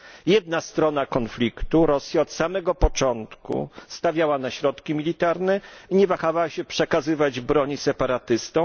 Jedna strona konfliktu Rosja od samego początku stawiała na środki militarne i nie wahała się przekazywać broni separatystom.